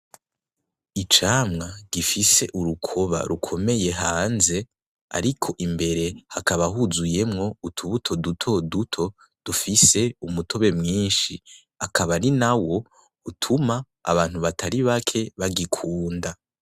Icamwa gifise urukoba rukomeye hanze, ariko imbere hakaba huzuyemwo utubuto duto duto, duties umutobe mwinshi, akaba ari nawo utuma abantu batari bake bagikunda.